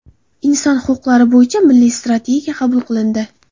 Inson huquqlari bo‘yicha Milliy strategiya qabul qilindi.